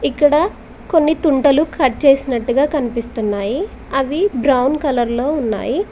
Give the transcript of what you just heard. ఇక్కడ కొన్ని తుంటలు కట్ చేసినట్టుగా కనిపిస్తున్నాయి అవి బ్రౌన్ కలర్ లో ఉన్నాయి.